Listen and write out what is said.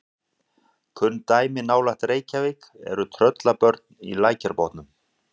Kunn dæmi nálægt Reykjavík eru Tröllabörn í Lækjarbotnum.